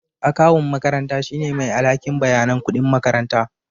Akawun makaranta shine mai alhakin bayanan kuɗin makaranta